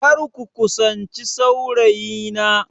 Kar ku kusanci saurayina!